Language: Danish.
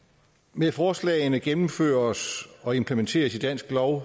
med forslagene gennemføres og implementeres i dansk lov